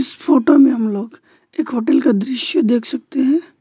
इस फोटो में हम लोग एक होटल का दृश्य देख सकते हैं।